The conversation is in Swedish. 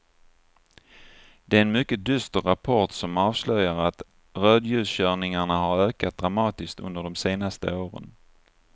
Det är en mycket dyster rapport som avslöjar att rödljuskörningarna har ökat dramatiskt under de senaste åren.